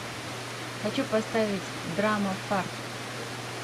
хочу поставить драма фарт